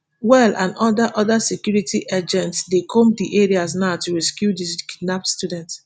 well and oda oda security agents dey comb di areas now to rescue di kidnapped students